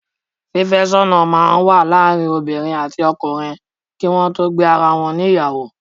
Fífẹ́sọ́nà máa ń wà láàárín obiinrìn àti ọkunrìn kí wọn tó gbé ara wọn ní ìyàwó.